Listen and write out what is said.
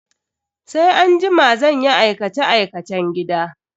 Sai anjima zan yi aikace-aikacen gida.